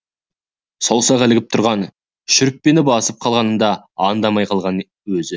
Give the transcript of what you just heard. саусағы ілігіп тұрған шүріппені басып қалғанын да аңдамай қалған өзі